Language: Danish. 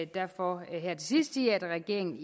derfor her til sidst sige at regeringen